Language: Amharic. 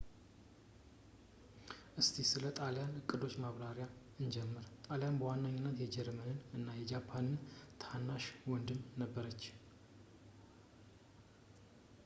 እስቲ ስለ ጣልያን እቅዶች በማብራሪያ እንጀምር ጣሊያን በዋናነት የጀርመን እና የጃፓን ታናሽ ወንድም ነበረች